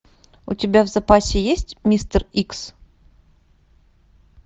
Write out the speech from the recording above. у тебя в запасе есть мистер икс